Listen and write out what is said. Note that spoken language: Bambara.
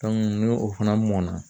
ni o fana mɔna